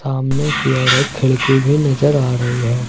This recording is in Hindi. सामने की ओर एक खिड़की भी नजर आ रही है।